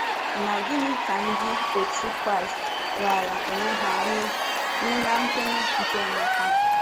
Na gịnị ka Ndị otú Kraịst raara onwe ha nye nye na kwenyere nke Emeka?